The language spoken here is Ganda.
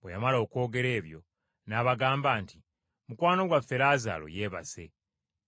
Bwe yamala okwogera ebyo n’abagamba nti, “Mukwano gwaffe Laazaalo yeebase,